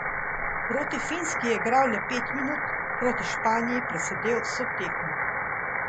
Proti Finski je igral le pet minut, proti Španiji presedel vso tekmo.